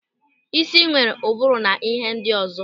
Ísì nwere ụbụrụ na ịhe ndị ọzọ.